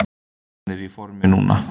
Hann er í formi núna.